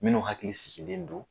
Minnu hakili sigilen do.